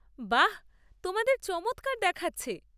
বাহ! তোমাদের চমৎকার দেখাচ্ছে।